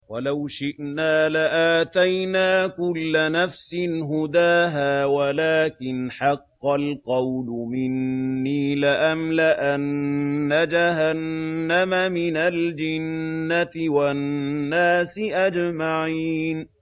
وَلَوْ شِئْنَا لَآتَيْنَا كُلَّ نَفْسٍ هُدَاهَا وَلَٰكِنْ حَقَّ الْقَوْلُ مِنِّي لَأَمْلَأَنَّ جَهَنَّمَ مِنَ الْجِنَّةِ وَالنَّاسِ أَجْمَعِينَ